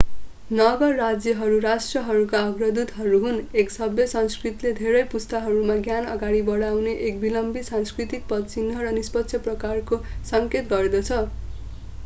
नगर-राज्यहरू राष्ट्रहरूका अग्रदूतहरू हुन् एक सभ्य संस्कृतिले धेरै पुस्ताहरूमा ज्ञान अगाडि बनाउने एक विलम्बित सांस्कृतिक पदचिन्ह र निष्पक्ष प्रसारको सङ्केत गर्दछ